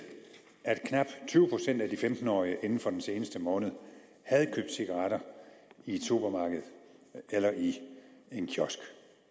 at knap tyve procent af de femten årige inden for den seneste måned havde købt cigaretter i et supermarked eller i en kiosk